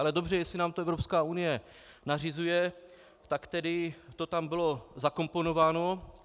Ale dobře - jestli nám to Evropská unie nařizuje, tak tedy to tam bylo zakomponováno.